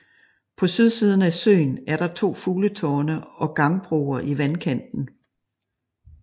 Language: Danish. På sydsiden af søen er der to fugletårne og gangbroer i vandkanten